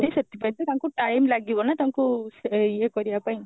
ସେଥିପାଇଁ ସେ ତାଙ୍କୁ time ଲାଗିବ ନା ତାଙ୍କୁ ୟେ କରିବା ପାଇଁ